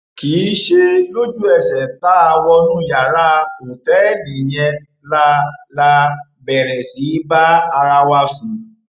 kì í ṣe lójúẹsẹ tá a wọnú yàrá òtẹẹlì yẹn la la bẹrẹ sí í bá ara wa sùn